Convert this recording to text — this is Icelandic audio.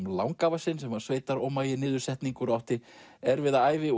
langafa sinn sem var sveitarómagi niðursetningur og átti erfiða ævi